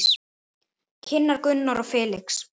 Kynnar Gunnar og Felix.